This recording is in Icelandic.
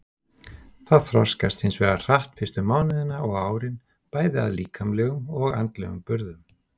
Það þroskast hins vegar hratt fyrstu mánuðina og árin bæði að líkamlegum og andlegum burðum.